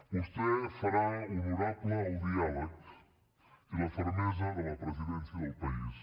vostè farà honorable el diàleg i la fermesa de la presidència del país